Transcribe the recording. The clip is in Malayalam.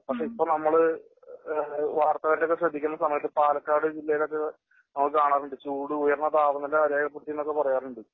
പക്ഷേ ഇപ്പോ നമ്മള് വാർത്തകളിലൊക്കെ ശ്രദ്ധിക്കുന്ന സമയത്ത് പാലക്കാട് ജില്ലയിലൊക്കെ നമ്മൾ കാണാറുണ്ട് ചൂട് ഉയർന്ന താപനില രേഖപ്പെടുത്തി എന്നൊക്കെ പറയാറുണ്ട്